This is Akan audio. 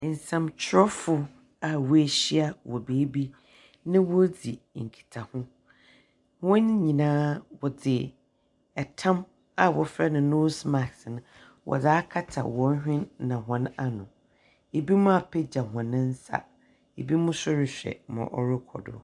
Nsɛmtwerɛfo a woehyia wɔ beebi, na woridzi nkitaho. Hɔn nyinaa wɔdze tam a wɔfrɛ no nose mask no wɔdze akata hɔn hwen na hɔn ano. Ebinom apagya hɔn nsa. Ebinom nso rehwɛ ma ɔrokɔ do.